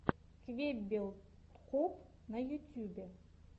квеббел коп на ютьюбе